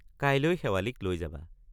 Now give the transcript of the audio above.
কাইলৈ শেৱালিক লৈ যাবা।